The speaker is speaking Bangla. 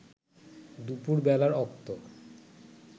দুপুর বেলার অক্ত